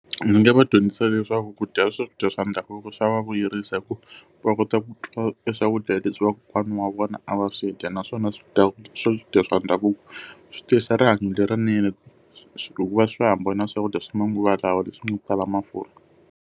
Ndzi nga va dyondzisa leswaku ku dya swakudya swa ndhavuko swa vuyerisa hikuva, va kota ku twa eswakudya leswi vakokwana wa vona a va swi dya. Naswona swakudya swa ndhavuko swi tiyisa rihanyo lerinene hikuva swa hambana swakudya swa manguva lawa leswi nga tala mafurha.